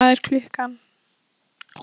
Svanþór, hvað er klukkan?